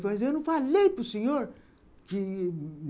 Mas eu não falei para o senhor que